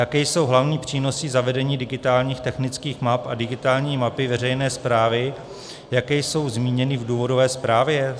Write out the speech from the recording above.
Jaké jsou hlavní přínosy zavedení digitálních technických map a digitální mapy veřejné správy, jaké jsou zmíněny v důvodové zprávě?